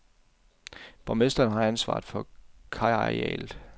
Borgmesteren har ansvaret for kajarealet.